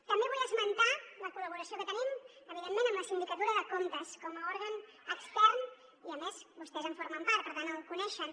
també vull esmentar la col·laboració que tenim evidentment amb la sindicatura de comptes com a òrgan extern i a més vostès en formen part per tant el coneixen